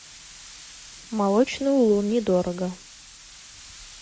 молочный улун недорого